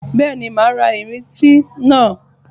Bẹ́ẹ̀ni, màá ra ìrintí náà.